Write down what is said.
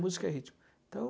Música é ritmo. Então,